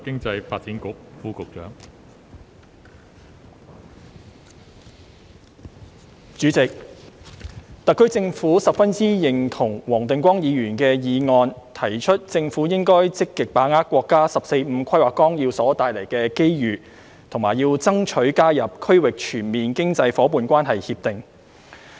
代理主席，特區政府十分認同黃定光議員的議案，提出政府應該積極把握國家《十四五規劃綱要》所帶來的機遇，以及要爭取加入《區域全面經濟伙伴關係協定》。